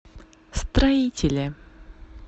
строителе